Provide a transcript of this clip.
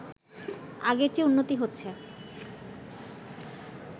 আগের চেয়ে উন্নতি হচ্ছে